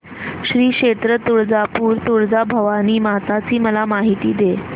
श्री क्षेत्र तुळजापूर तुळजाभवानी माता ची मला माहिती दे